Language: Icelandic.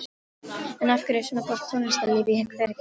En af hverju er svona gott tónlistarlíf í Hveragerði?